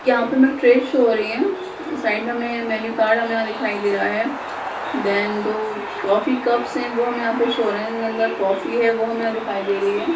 यहाँ पे हमें ट्रे शो हो रहे है साइड में हमें मेन्यू कार्ड हमें यहाँ दिखाई दे रहा है देन दो कॉफी कप्स है वो हमें यहाँ पे शो हो रहे है इनके अंदर कॉफी है वो हमें दिखाई दे रही है।